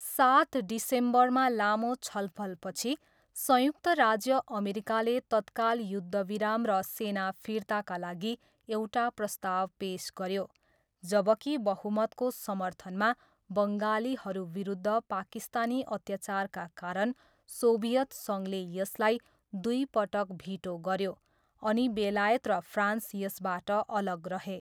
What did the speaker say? सात डिसेम्बरमा लामो छलफलपछि, संयुक्त राज्य अमेरिकाले तत्काल युद्धविराम र सेना फिर्ताका लागि एउटा प्रस्ताव पेस गऱ्यो, जबकि बहुमतको समर्थनमा, बङ्गालीहरूविरुद्ध पाकिस्तानी अत्याचारका कारण सोभियत सङ्घले यसलाई दुईपटक भिटो गऱ्यो, अनि बेलायत र फ्रान्स यसबाट अलग रहे।